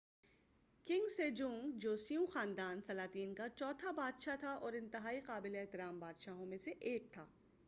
king Sejong جوسیوں خاندان سلاطین کا چوتھا بادشاہ تھا اور انتہائی قابل احترام بادشاہوں میں سے ایک تھا